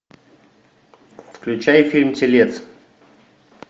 включай фильм телец